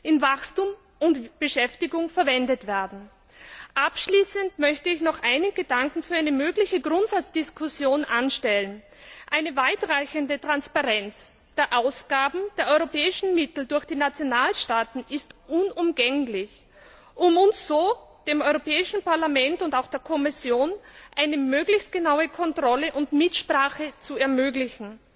in Wachstum und Beschäftigung verwendet werden. Abschließend möchte ich noch einen Gedanken für eine mögliche Grundsatzdiskussion anstellen Eine weitreichende Transparenz der Ausgaben der europäischen Mittel durch die Nationalstaaten ist unumgänglich, um uns dem Europäischen Parlament und auch der Kommission so eine möglichst genaue Kontrolle und Mitsprache zu ermöglichen.